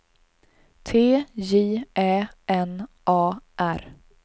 T J Ä N A R